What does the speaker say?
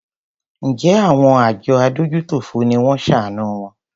Njẹ àwọn àjọ adójútòfò ni wón ṣàánù wọn?